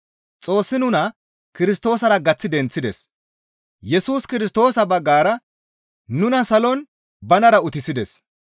Xoossi nuna Kirstoosara gaththi denththides; Yesus Kirstoosa baggara nuna salon banara utissides.